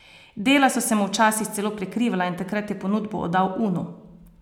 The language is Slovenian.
Dela so se mu včasih celo prekrivala in takrat je ponudbo oddal Unu.